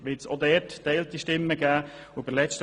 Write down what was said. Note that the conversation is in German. Von unserer Seite gibt es hierzu geteilte Stimmen.